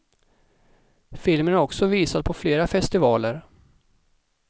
Filmen är också visad på flera festivaler.